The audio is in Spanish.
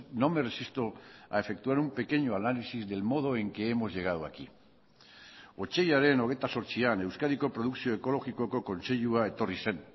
no me resisto a efectuar un pequeño análisis del modo en que hemos llegado aquí otsailaren hogeita zortzian euskadiko produkzio ekologikoko kontseilua etorri zen